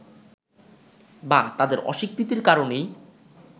বা তাদের অস্বীকৃতির কারণেই